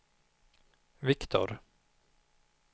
Viktor